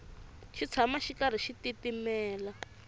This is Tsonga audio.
xi tshama xi karhi xi titimela